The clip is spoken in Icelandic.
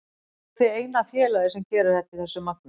Af hverju eruð þið eina félagið sem gerir þetta í þessu magni?